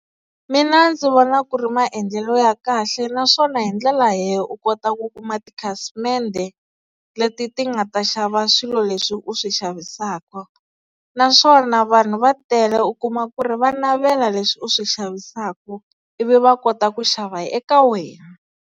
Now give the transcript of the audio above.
Mina ndzi vona ku ri maendlelo ya kahle naswona hindlela leyi u kota ku kuma tikhasimende leti ti nga ta xava swilo leswi u swi xavisaka, naswona vanhu va tele u kuma ku ri va navela leswi u swi xavisaka ivi va kota ku xava eka wena.